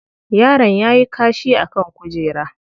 Yaron yayi kashi a kan kujera.